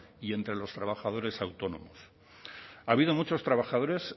y entre los trabajadores autónomos ha habido muchos trabajadores